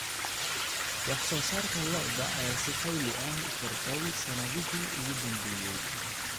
Wax soo saarka lo'da lo'da ayaa si xawli ah u kordhay sanadihii ugu dambeeyay.